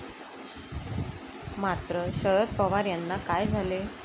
मात्र, शरद पवार यांना काय झाले?